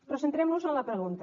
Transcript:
però centrem nos en la pregunta